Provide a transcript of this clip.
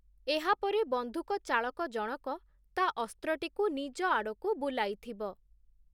ଏହାପରେ ବନ୍ଧୁକଚାଳକ ଜଣକ ତା ଅସ୍ତ୍ରଟିକୁ ନିଜ ଆଡ଼କୁ ବୁଲାଇଥିବ ।